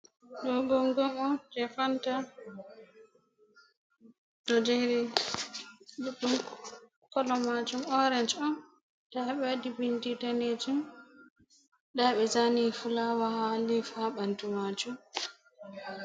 Ɗo gongom on je Fanta, ɗo jeri ɗuɗɗum kolo majum orage on, nda ɓe waɗi bindi danejum, nda ɓe zani fulawa ha les ha ɓandu majum.